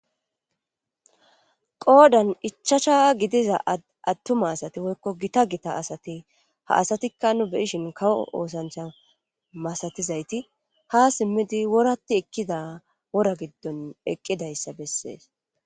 Qoodan ichasha gidiza attuma asati woykko gita gita asati ha asatikka nu beyishin kawo oosancha masatizayti ha simmidi woratti ekkida wora giddon eqqidayssa bessees.